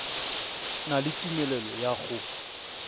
na le tumelelo ya go